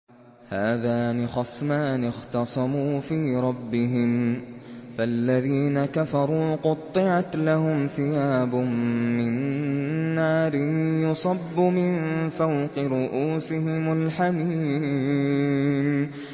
۞ هَٰذَانِ خَصْمَانِ اخْتَصَمُوا فِي رَبِّهِمْ ۖ فَالَّذِينَ كَفَرُوا قُطِّعَتْ لَهُمْ ثِيَابٌ مِّن نَّارٍ يُصَبُّ مِن فَوْقِ رُءُوسِهِمُ الْحَمِيمُ